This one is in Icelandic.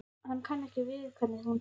Hann kann ekki við hvernig hún talar.